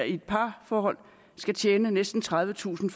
i et parforhold skal tjene næsten tredivetusind